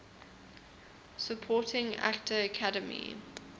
supporting actor academy